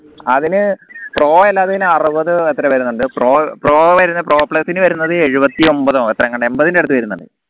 അതിന് pro അല്ലാതേൻ അറുപത് എത്രയോ വേരൂന്നിൻഡ് pro pro വരുന്ന pro plus നു വരുന്നത് ഏഴുവത്തി ഒമ്പതോ എത്രങ്ങണ്ട എമ്പതിന് അടുത് വേരൂന്നിൻഡ്